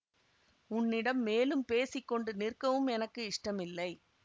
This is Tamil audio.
உன்னிடம் மேலும் பேசி கொண்டு நிற்கவும் எனக்கு இஷ்டம் இல்லை